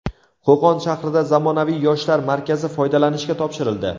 Qo‘qon shahrida zamonaviy Yoshlar markazi foydalanishga topshirildi.